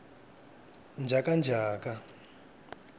njhakanjhaka